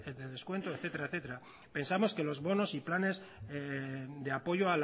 de descuento etcétera etcétera pensamos que los bonos y planes de apoyo